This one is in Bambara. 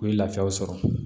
U ye lafiyaw sɔrɔ